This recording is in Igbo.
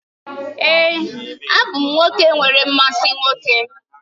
Èé, abụ m nwoke nwere mmasị nwoke